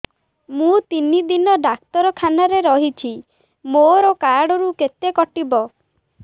ମୁଁ ତିନି ଦିନ ଡାକ୍ତର ଖାନାରେ ରହିଛି ମୋର କାର୍ଡ ରୁ କେତେ କଟିବ